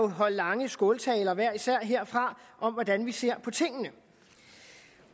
holde lange skåltaler herfra om hvordan vi ser på tingene